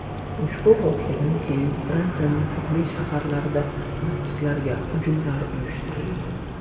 Ushbu voqeadan keyin Fransiyaning turli shaharlarida masjidlarga hujumlar uyushtirilgan .